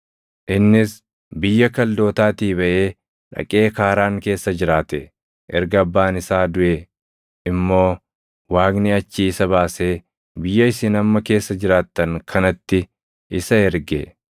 “Innis biyya Kaldootaatii baʼee dhaqee Kaaraan keessa jiraate. Erga abbaan isaa duʼe immoo Waaqni achii isa baasee biyya isin amma keessa jiraattan kanatti isa erge.